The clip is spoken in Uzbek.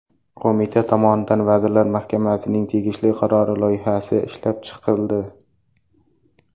Qo‘mita tomonidan Vazirlar Mahkamasining tegishli qarori loyihasi ishlab chiqildi.